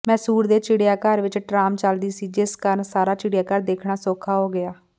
ਮੈਸੂਰ ਦੇ ਚਿੜੀਆਘਰ ਵਿੱਚ ਟਰਾਮ ਚਲਦੀ ਸੀ ਜਿਸ ਕਾਰਨ ਸਾਰਾ ਚਿੜੀਆਘਰ ਦੇਖਣਾ ਸੌਖਾ ਹੋ ਗਿਆ